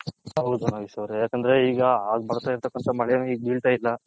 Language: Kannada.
ಹೌದು ನಾಗೇಶ ಅವರೇ ಯಾಕಂದ್ರೆ ಈಗ ಆಗ ಬರ್ತೈರತಕಂಥ ಮಳೆನು ಈಗ ಬಿಳ್ತೈಲ.